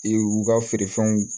Ee u ka feerefɛnw